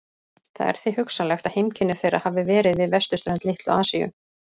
Það er því hugsanlegt að heimkynni þeirra hafi verið við vesturströnd Litlu-Asíu.